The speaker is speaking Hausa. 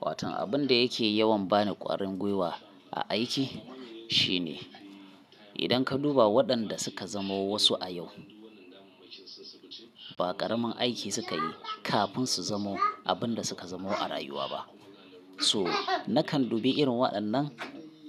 Watan abun da yake yawan bani kwarin gwiwa a aiki shine, idan ka duba waɗanda suka zamo wasu a yau, ba ƙaramin aiki suka yi kafin su zamo abin da suka zamo a rayuwa ba. To nakan dube irin waɗannan